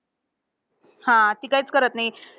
हा. ती काहीच करत नाही.